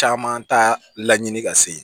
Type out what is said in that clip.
Caman t'a laɲini ka se yen